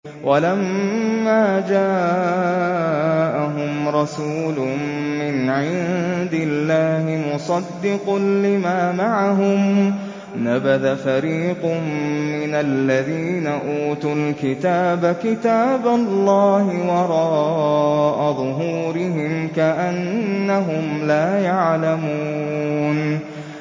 وَلَمَّا جَاءَهُمْ رَسُولٌ مِّنْ عِندِ اللَّهِ مُصَدِّقٌ لِّمَا مَعَهُمْ نَبَذَ فَرِيقٌ مِّنَ الَّذِينَ أُوتُوا الْكِتَابَ كِتَابَ اللَّهِ وَرَاءَ ظُهُورِهِمْ كَأَنَّهُمْ لَا يَعْلَمُونَ